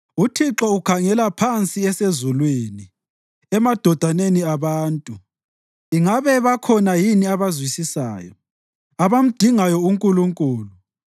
UThixo ukhangela phansi esezulwini emadodaneni abantu ingabe bakhona yini abazwisisayo, abamdingayo uNkulunkulu.